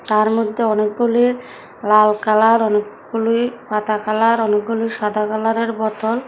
তারমধ্যে অনেকগুলি লাল কালার অনেকগুলি পাতা কালার অনেকগুলি সাদা কালারের বোতল।